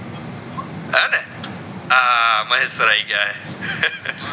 હા મહેશ સર આય ગયા